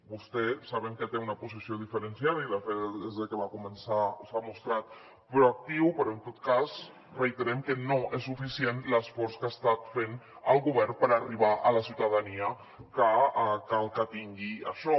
vostè sabem que té una posició diferenciada i de fet des de que va començar s’hi ha mostrat proactiu però en tot cas reiterem que no és suficient l’esforç que ha estat fent el govern per arribar a la ciutadania que cal que tingui això